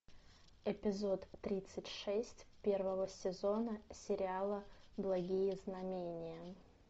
эпизод тридцать шесть первого сезона сериала благие знамения